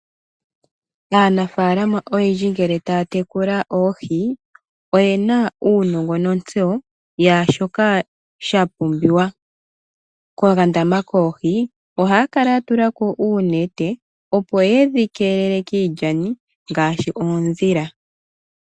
Aanafaalama oyendji ngele taya tekula oohi oyena uunongo nontseyo yaashoka sha pumbiwa, ko kandama koohi ohaya kala ya tulako uunete, opo yedhi keelele kiilyani, ngaashi oondhila.